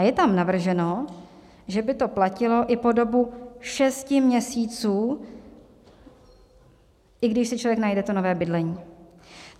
A je tam navrženo, že by to platilo i po dobu šesti měsíců, i když si člověk najde to nové bydlení.